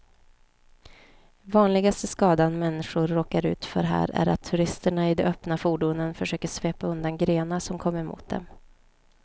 Vanligaste skadan människor råkar ut för här är att turisterna i de öppna fordonen försöker svepa undan grenar som kommer mot dem.